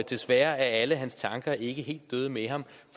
desværre er alle hans tanker ikke helt døde med ham